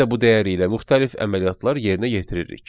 Biz də bu dəyəri ilə müxtəlif əməliyyatlar yerinə yetiririk.